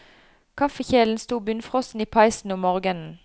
Kaffekjelen sto bunnfrossen i peisen om morgenen.